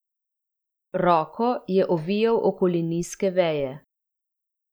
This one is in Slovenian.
Roko je ovijal okoli nizke veje.